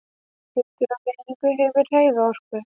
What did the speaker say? Hlutur á hreyfingu hefur hreyfiorku.